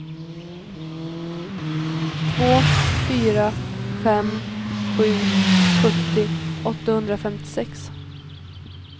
två fyra fem sju sjuttio åttahundrafemtiosex